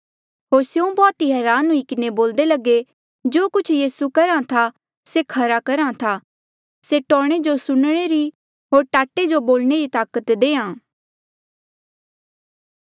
होर स्यों बौह्त ई हरान हुई किन्हें बोल्दे लगे जो कुछ यीसू करहा ऐें था से खरा करहा था से टौणें जो सुणने री होर टाटे जो बोलणे री ताकत देहां